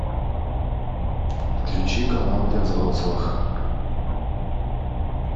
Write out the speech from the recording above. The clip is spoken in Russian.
включи канал для взрослых